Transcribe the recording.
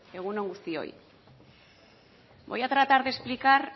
egun on guztioi voy a tratar de explicar